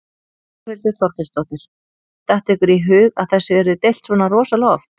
Þórhildur Þorkelsdóttir: Datt ykkur í hug að þessu yrði deilt svona rosalega oft?